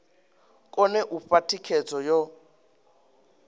kone u fha thikhedzo yo